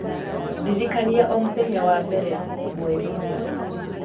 ndirikania o mũthenya wa mbere mweri-inĩ